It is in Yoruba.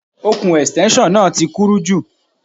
Ọ̀kùn Ẹ̀stẹ́nṣọ̀n náà ti kúrú jù